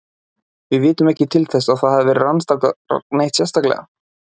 Við vitum ekki til þess að þetta hafi verið rannsakað neitt sérstaklega.